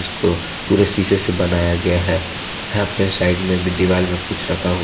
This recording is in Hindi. इसको पूरे शीशे से बनाया गया है यहां पे साइड में भी दिवाल में कुछ रखा हुआ--